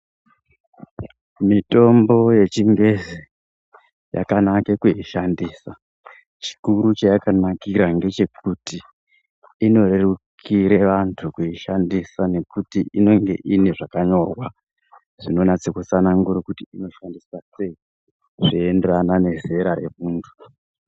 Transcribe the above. Mitombo ye chingezi yakanaka kuishandisa chikuru chayaka nakira ngechekuti ino rerukire vantu kuishandisa nekuti inenge ine zvakanyorwa zvinonatse kutsanangura kuti inoshandiswa sei zvei enderana ne zera re muntu.